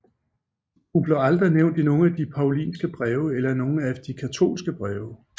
Hun blev aldrig nævnt i nogen af de Paulinske breve eller i nogen af de katolske breve